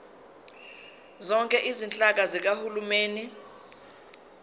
zonke izinhlaka zikahulumeni